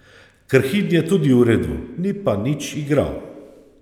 Krhin je tudi v redu, ni pa nič igral.